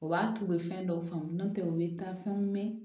O b'a to u bɛ fɛn dɔw faamu n'o tɛ u bɛ taa fɛnw mɛn